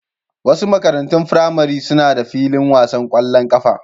Wasu makarantun firamare suna da filin wasan kwallon kafa.